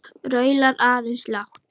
Raular aðeins lágt.